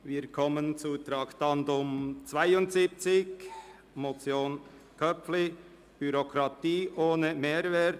Wir kommen zum Traktandum 72, der Motion Köpfli «Bürokratie ohne Mehrwert: